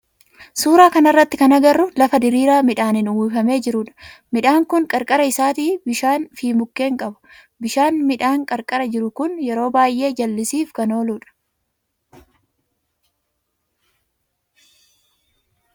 Suuraa kana irratti kan agarru lafa diriiraa midhaanin uwwifamee jiru dha. Midhaan kun qarqara isaatii bishaani fi mukkeen qaba. Bishaan midhaan qarqara jiru kun yeroo baayyee jal'isiif kan oolu dha.